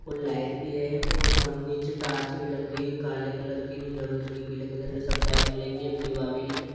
और लाइट भी है और निचे टार्च भी लग रही है काले कलर की नीले कलर की पिले कलर की सब बाइक मिलेंगे एक्टिवा बी--